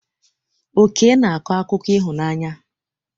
Oke na-akọ akụkọ ịhụnanya.